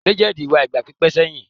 Legends wà igba pipẹ seyin